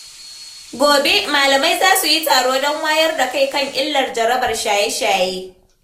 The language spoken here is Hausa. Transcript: Gobe, malamai za su yi taro don wayar da kai kan illar jarabar shaye-shaye.